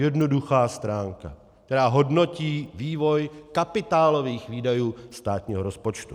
Jednoduchá stránka, která hodnotí vývoj kapitálových výdajů státního rozpočtu.